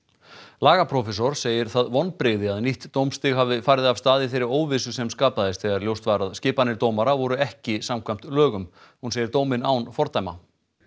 lagaprófessor segir það vonbrigði að nýtt dómstig hafi farið af stað í þeirri óvissu sem skapaðist þegar ljóst var að skipanir dómara voru ekki samkvæmt lögum hún segir dóminn án fordæma